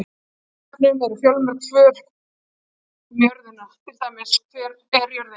Á Vísindavefnum eru fjölmörg svör um jörðina, til dæmis: Hver er jörðin?